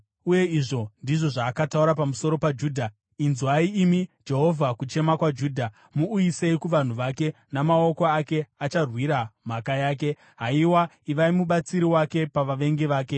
Uye izvi ndizvo zvaakataura pamusoro paJudha: “Inzwai, imi Jehovha, kuchema kwaJudha; muuyisei kuvanhu vake. Namaoko ake acharwira mhaka yake. Haiwa, ivai mubatsiri wake pavavengi vake!”